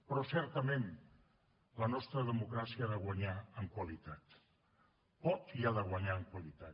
però certament la nostra democràcia ha de guanyar en qualitat pot i ha de guanyar en qualitat